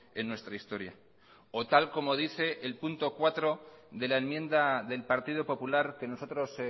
en nuestra historia o tal como dice el punto cuatro de la enmienda del partido popular que nosotros